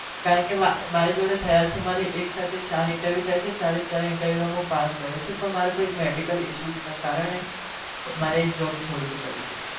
કારણ કે મારી જોડે થયા છે, મારે એક સાથે ચાર interview થાય છે ચારે ચાર interview માં હું pass થયો છુ પણ મારો કઈ medical issue ના કારણે મારે job છોડવી પડી હતી.